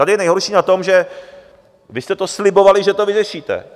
Tady je nejhorší na tom, že vy jste to slibovali, že to vyřešíte.